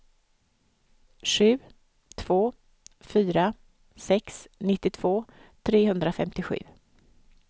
sju två fyra sex nittiotvå trehundrafemtiosju